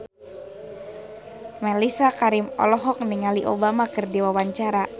Mellisa Karim olohok ningali Obama keur diwawancara